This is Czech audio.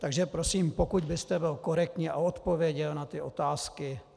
Takže prosím, pokud byste byl korektní a odpověděl na ty otázky.